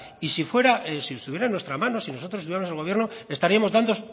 y si estuviera en nuestra mano sí nosotros fuéramos gobierno estaríamos dando